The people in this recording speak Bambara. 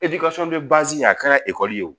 a kɛra ekɔli ye o